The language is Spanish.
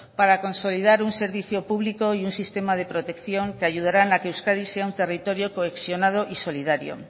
para consolidar un servicio público y un sistema de protección que ayudarán a que euskadi sea un territorio cohesionado y solidario